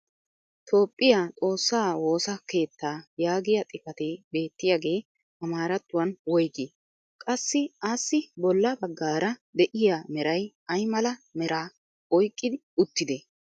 toophphiya xoossaa woossa keettaa yaagiya xifatee beettiyagee amaarattuwan woygii? qassi assi bolla bagaara de'iya meray ayi mala meraa oyqqi uttidee?